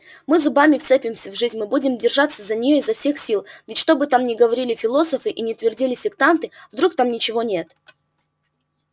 мы зубами вцепимся в жизнь мы будем держаться за неё изо всех сил ведь что бы там ни говорили философы и ни твердили сектанты вдруг там ничего нет